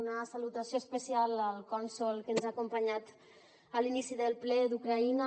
una salutació especial al cònsol que ens ha acompanyat a l’inici del ple d’ucraïna